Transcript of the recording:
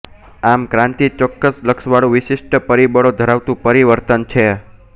આમ ક્રાંતિ ચોક્કસ લક્ષવાળું વિશિષ્ટ પરિબળો ધરાવતું પરિવર્તન છે